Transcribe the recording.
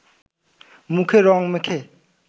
মুখে রঙ মেখে